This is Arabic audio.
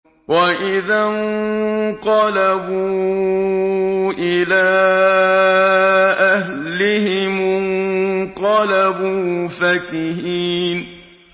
وَإِذَا انقَلَبُوا إِلَىٰ أَهْلِهِمُ انقَلَبُوا فَكِهِينَ